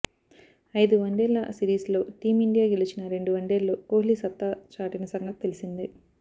అయిదు వన్డేల సిరీస్లో టీమిండియా గెలిచిన రెండు వన్డేల్లో కోహ్లీ సత్తా చాటిన సంగతి తెలిసిందే